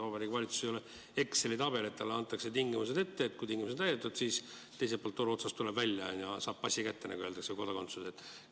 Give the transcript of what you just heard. Vabariigi Valitsus ei ole Exceli tabel, et talle antakse tingimused ette ja kui tingimused on täidetud, siis teiselt poolt toru otsast tuleb pass välja ja inimene saab kodakondsuse kätte.